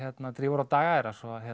drífur á daga þeirra